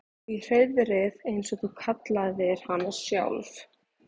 Í hreiðrið eins og þú kallaðir hana sjálf.